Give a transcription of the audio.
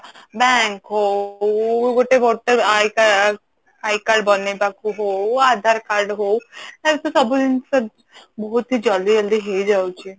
bank ହଉ ଗୋଟେ voter I card I card ବନେଇବାକୁ ହଉ ଆଧାର card ହଉ ଯେହେତୁ ସବୁ ଜିନିଷ ବହୁତ ଜଲ୍ଦି ଜଲ୍ଦି ହେଇଯାଉଛି